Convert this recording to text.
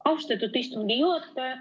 Austatud istungi juhataja!